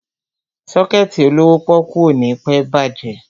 Sọ́kẹ̀tì olówó pọ́ọ́kú ò ní pẹ́ bàjẹ́.